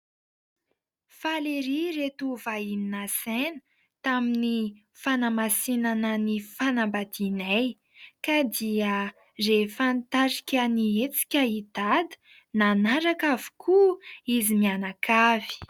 Faly ery ireto vahiny nasaina tamin'ny fanamasinana ny fanambadianay ; ka dia rehefa nitarika ny hetsika i Dada nanaraka avokoa izy mianakavy.